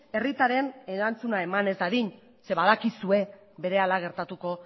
herritarren erantzuna eman ez dadin zeren badakizue berehala gertatuko